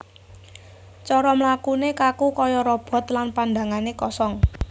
Cara mlakune kaku kaya robot lan pandhangane kosong